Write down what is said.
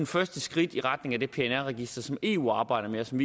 første skridt i retning af det pnr register som eu arbejder med og som